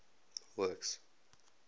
works